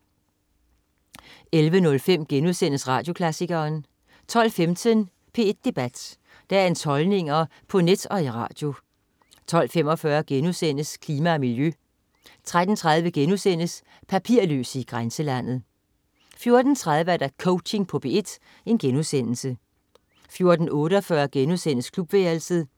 11.05 Radioklassikeren* 12.15 P1 Debat. Dagens holdninger på net og i radio 12.45 Klima og miljø* 13.30 Papirløse i grænselandet* 14.03 Coaching på P1* 14.48 Klubværelset*